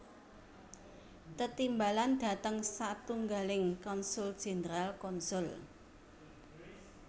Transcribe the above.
Tetimbalan dhateng satunggaling konsul jenderal konsul